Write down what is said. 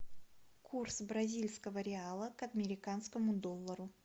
курс бразильского реала к американскому доллару